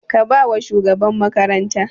Ka ba wa shugaban makaranta!